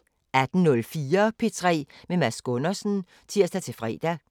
18:04: P3 med Mads Gundersen (tir-fre)